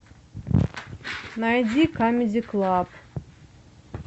найди камеди клаб